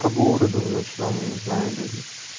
по городу ночному не знаю или